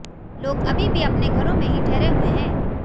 लोग अभी भी अपने घरों में ही ठहरे हुए हैं